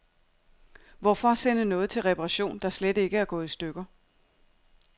Hvorfor sende noget til reparation, der slet ikke er gået i stykker.